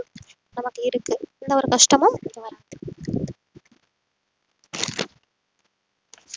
நமக்கு இருக்கு எந்த ஒரு கஷ்டமும்